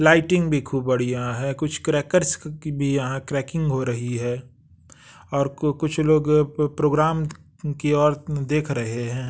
Lighting भी खूब बढ़िया है कुछ क्रैकर्स क की भी यहाँ क्रैकिंग हो रही है और कु कुछ लोग प प्रोग्राम की ओर देख रहे हैं।